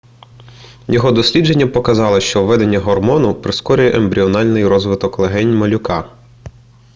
його дослідження показало що введення гормону прискорює ембріональний розвиток легень малюка